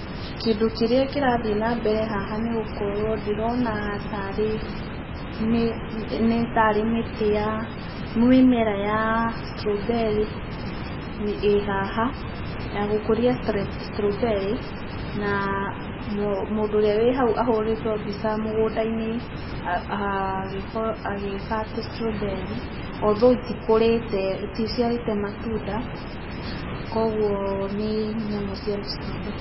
Kĩndũ kĩria kirathiĩ na mbere haha nĩ gũkũrwo ndĩrona tarĩ, nĩ tarĩmĩtĩ ya, mimera ya strawberry ĩ haha, ya gũkũria strawberry, na mũndũ ũrĩa wĩ haũ ahũrĩtwo mbica mũgũndainĩ agĩka atĩ strawberry, althoũgh, iti kũrĩte, iti ciarĩte matũnda, kũgũo nĩ nyamũ cia mũ strawberry.